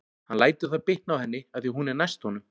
Hann lætur það bitna á henni af því að hún er næst honum.